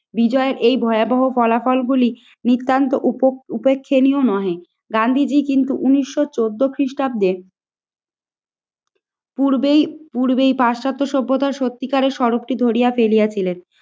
বিজয়ের এই ভয়াবহ ফলাফলগুলি নিতান্ত উপেক্ষনীয় নয়। গান্ধীজী কিন্তু ঊনিশশো চোদ্দ খ্রিস্টাব্দে পূর্বেই পূর্বেই পাশ্চাত্য সভ্যতার সত্যিকারের সড়কটি ধরিয়া ফেলিয়াছিলেন।